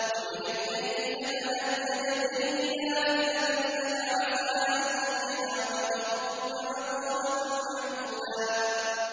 وَمِنَ اللَّيْلِ فَتَهَجَّدْ بِهِ نَافِلَةً لَّكَ عَسَىٰ أَن يَبْعَثَكَ رَبُّكَ مَقَامًا مَّحْمُودًا